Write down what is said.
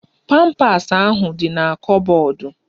Pampas ahụ di na kọbọdu